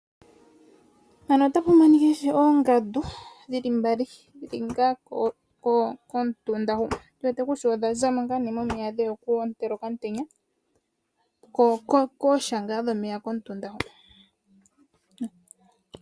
Mefano otamu monika oongandu dhili mbali dhili ngaa komutunda hu tuwete kutya odha zamo ngaa nee momeya dheya oku ontela okaantenya kosha ngaa dhomeya komutunda ho.